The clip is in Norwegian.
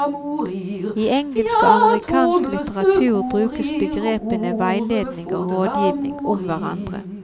I engelsk og amerikansk litteratur brukes begrepene veiledning og rådgivning om hverandre.